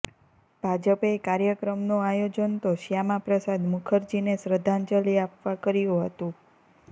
ભાજપે કાર્યક્રમનું આયોજન તો શ્યામા પ્રસાદ મુખર્જીને શ્રદ્ધાજલિ આપવા કર્યું હતું